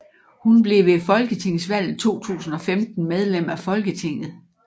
Hun blev ved folketingsvalget 2015 medlem af Folketinget